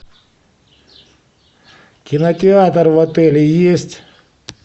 кинотеатр в отеле есть